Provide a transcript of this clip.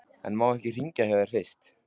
En má ég hringja hjá þér fyrst?